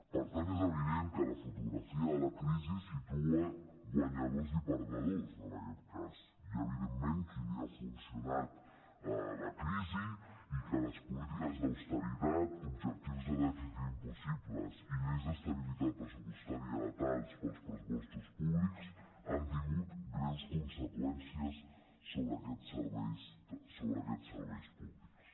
per tant és evident que la fotografia de la crisi situa guanyadors i perdedors en aquest cas hi ha evidentment qui li ha funcionat la crisi i que les polítiques d’austeritat objectius de dèficit impossibles i lleis d’estabilitat pressupostària letals per als pressupostos públics han tingut greus conseqüències sobre aquests serveis públics